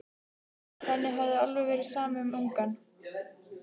Henni hafði verið alveg sama um ungann.